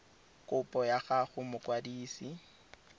kopo ya gago go mokwadise